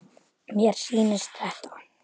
Mér sýndist þetta.